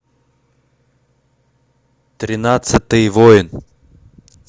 тринадцатый воин